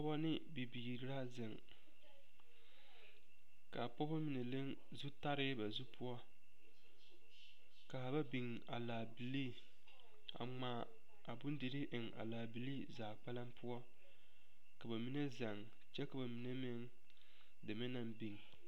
Pɔge ne bibiiri la ziŋ ka a pɔge mine leŋ zu tari ba zu poɔ ka ba biŋ a laabilee a ŋmaa a bondirii eŋ a laa bilee zaa kpɛlɛŋ poɔ a ka ba mine zɛŋ kyɛ ka a mine meŋ deme naŋ biŋ.